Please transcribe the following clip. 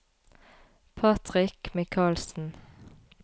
Patrick Mikalsen